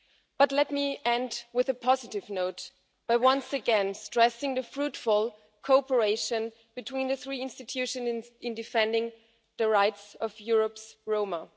But let me end on a positive note by once again stressing the fruitful cooperation between the three institutions in defending the rights of Europe's Roma.